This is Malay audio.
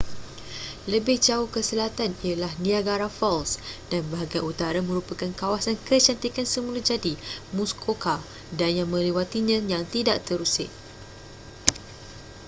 lebih jauh ke selatan ialah niagara falls dan bahagian utara merupakan kawasan kecantikan semula jadi muskoka dan yang melewatinya yang tidak terusik